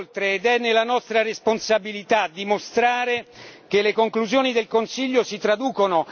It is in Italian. che le conclusioni del Consiglio si traducono in buona politica e in buone pratiche.